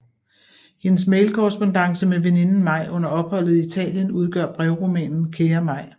Hendes mailkorrespondance med veninden Mai under opholdet i Italien udgør brevromanen Kære Mai